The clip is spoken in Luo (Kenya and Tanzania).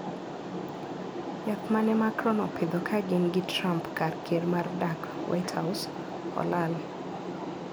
Yath ma ne Macron opidho ka gin gi Trump kar ker mar dak (White House) olal.